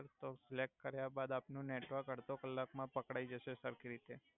તો સેલેકટ કર્યા બાદ આપનુ નેટવર્ક અડ્ધો કલાક મા પકડાઇ જસે સર્ખી રીતે.